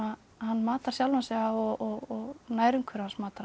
hann matar sjálfan sig á og nærumhverfi hans matar hann